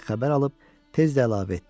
Deyə xəbər alıb tez də əlavə etdi.